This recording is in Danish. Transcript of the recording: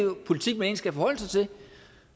politik man egentlig skal forholde sig til